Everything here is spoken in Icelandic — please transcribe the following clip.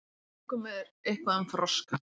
Í hvaða bókum er eitthvað um froska?